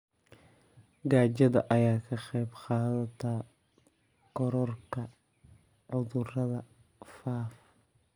Gaajada ayaa ka qayb qaadata kororka cudurrada faafa.